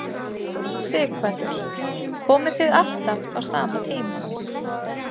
Sighvatur: Komið þið alltaf á sama tíma?